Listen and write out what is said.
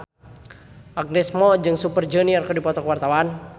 Agnes Mo jeung Super Junior keur dipoto ku wartawan